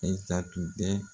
I ta tun tɛ.